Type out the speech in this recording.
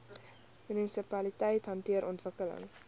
munisipaliteite hanteer ontwikkeling